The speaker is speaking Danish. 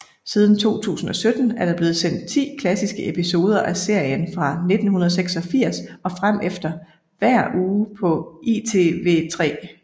Siden 2017 er der blevet sendt 10 klassiske episoder af serien fra 1986 og fremefter hver uge på ITV3